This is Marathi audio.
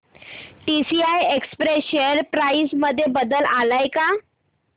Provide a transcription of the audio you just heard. टीसीआय एक्सप्रेस शेअर प्राइस मध्ये बदल आलाय का